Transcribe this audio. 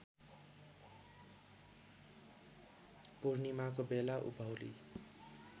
पूर्णिमाको बेला उभौली